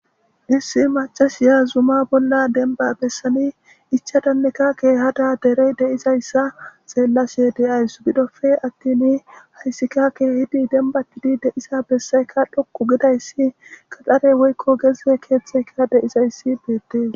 Issi macasiya zuma bolla denba bessani ichadanneka keehada derey deizayssa xeellashe deyays gidofe attin hayssika keehidi denbatidi deisa bessayka dhoqu gidayssi qaxare woykko gezze keeththeka deizayssi beettees.